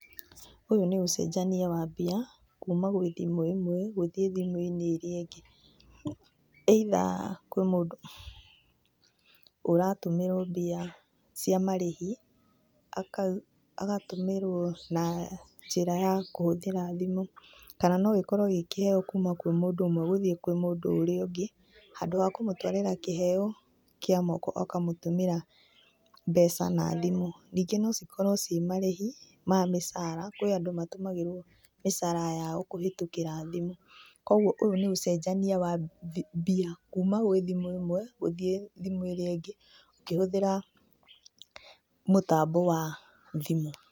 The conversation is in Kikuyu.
Ũyũ nĩ ũcenjania wa mbia kuma kũrĩ thimũ ĩmwe gũthiĩ kũrĩ thimũ ĩrĩa ingĩ. Either kwĩ mũndũ ũratũmĩrwo mbia cia marĩhi agatũmĩrwo na njĩra ya kũhũthĩra thimũ. Kana no gĩkorwo kĩrĩ kĩheo kuma kũrĩ mũndũ ũmwe gũthiĩ kũrĩ mũndũ ũrĩa ũngĩ. Handũ ha kũmũtwarĩra kĩheo na guoko ũkamũtũmĩra mbeca na thimũ. Ningĩ no cikorwo cirĩ marĩhi ma mĩcara, kũrĩ andũ matũmagĩrwo mĩcara yao kũhĩtũkĩra thimũ. Koguo ũyũ nĩ ũcenjania wa mbia kuma kũrĩ thimũ ĩmwe gũthiĩ kũrĩ thimũ ĩrĩa ingĩ ũkĩhũthĩra mũtambo wa thimũ.